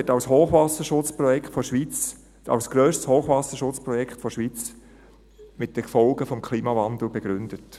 Und das Ganze wird als grösstes Hochwasserschutzprojekt der Schweiz mit den Folgen des Klimawandels begründet.